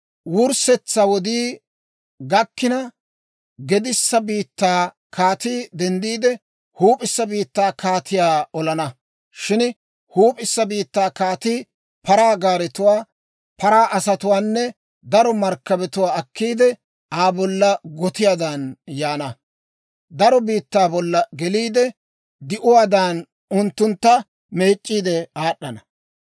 «Wurssetsaa wodii gakkina, gedissa biittaa kaatii denddiide, huup'issa biittaa kaatiyaa olana. Shin huup'issa biittaa kaatii paraa gaaretuwaa, paraa asatuwaanne daro markkabatuwaa akkiide, Aa bolla gotiyaadan yaana. Daro biittaa bolla geliide; di'uwaadan unttuntta meec'c'iidde aad'ana.